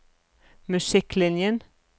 musikklinjen